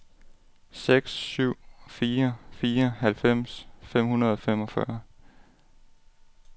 seks syv fire fire halvfems fem hundrede og femogfyrre